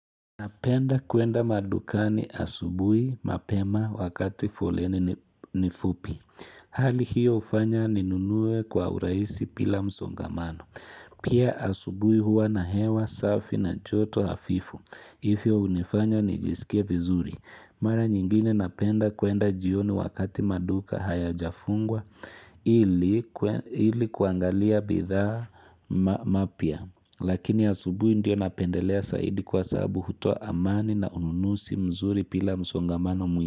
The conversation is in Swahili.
Napenda kwenda madukani asubui, mapema, wakati foleni ni fupi. Hali hiyo ufanya ninunue kwa urahisi bila msongamano. Pia asubui huwa na hewa safi na joto afifu hii feni unifanya nijiskie vizuri mara nyingine napenda kwenda jioni wakati maduka hayaja fungwa ilikuangalia bidhaa mpya Lakini asubuhi ndio napendelea zaidi kwa sababu hutuo amani na ununuzi mzuri bila msongamano mwingi.